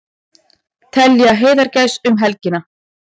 Telja heiðagæs um helgina